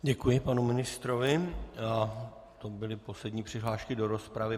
Děkuji panu ministrovi a to byly poslední přihlášky do rozpravy.